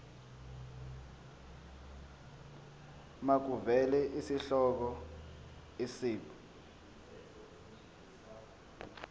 makuvele isihloko isib